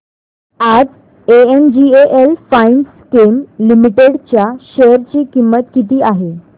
आज N G L Finechem limited च्या share ची किंमत किती आहे